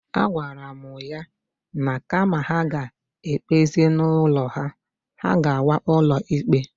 A gwara mụ ya na kama ha ga-egbezi n'ụlọ, ha agawa n'ụlọ ikpe.